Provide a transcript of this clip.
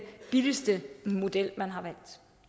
billigste model man har valgt